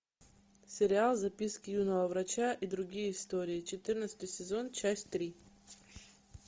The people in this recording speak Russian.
сериал записки юного врача и другие истории четырнадцатый сезон часть три